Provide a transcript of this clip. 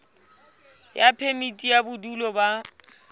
ya phemiti ya bodulo ba